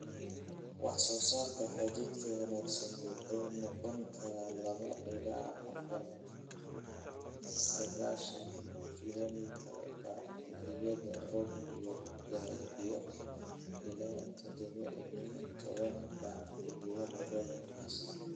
Wax-soosaarka hadhuudhka wanaagsan wuxuu noqon karaa laba ilaa afar (sagashan kilomitar) bac xilliyada roobku yar yahay iyo laba ilaa tadhawa iyo tawan bac xilliyada roobka wanaagsan.